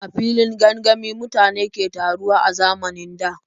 A filin gangami mutane ke taruwa a zamanin da.